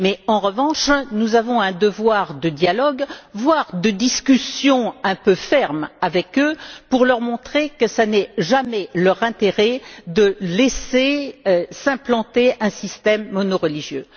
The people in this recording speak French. En revanche, nous avons un devoir de dialogue, voire de discussions un peu fermes avec eux, pour leur montrer qu'il n'est jamais dans leur intérêt de laisser s'implanter un système monoreligieux.